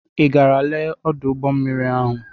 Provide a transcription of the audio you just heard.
I gara lee ọdụ ụgbọmmiri ahụ?